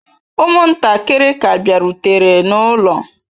Ụmụntakịrị ka bịarutere n'ụlọ.